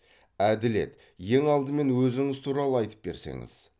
әділет ең алдымен өзіңіз туралы айтып берсеңіз